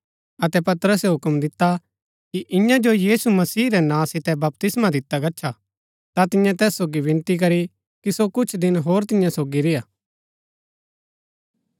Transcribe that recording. अतै पतरसै हूक्म दिता कि इन्या जो यीशु मसीह रै नां सितै बपतिस्मा दिता गच्छा ता तिन्ये तैस सोगी विनती करी कि सो कुछ दिन होर तियां सोगी रेय्आ